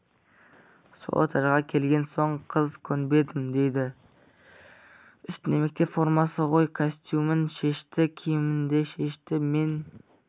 сол этажға келген соң қыз көнбедім дейді үстінде мектеп формасы ғой костюмін шешті киімімді шешті мен